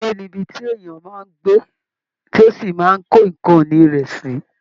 Ilé ni ibi tí èèyàn máa ń gbé tí ó sì máa ń kó nǹkan ìni rẹ̀ sí